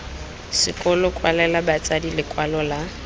sekolo kwalela batsadi lekwalo la